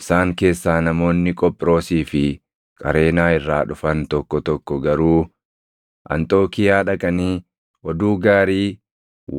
Isaan keessaa namoonni Qophiroosii fi Qareenaa irraa dhufan tokko tokko garuu Anxookiiyaa dhaqanii oduu gaarii